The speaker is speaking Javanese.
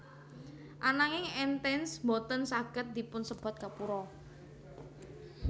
Ananging Entance boten saged dipunsebat gapura